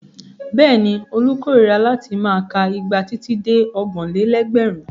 Bẹ́ẹ̀ni, Olú korira láti máa ka igba títí dé ọgbọ̀n-lé-lẹ́gbẹ̀rún.